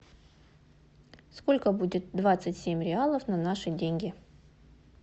сколько будет двадцать семь реалов на наши деньги